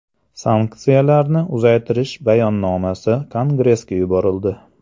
Sanksiyalarni uzaytirish bayonnomasi Kongressga yuborildi.